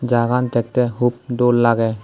jagagan dekhtey hub dol lagey.